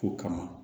Kow kama